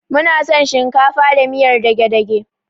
Muna son shinkafa da miyar dage-dage.